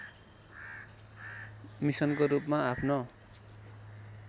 मिसनको रूपमा आफ्नो